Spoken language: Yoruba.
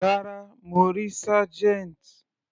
Rárá, mo rí Sergeant.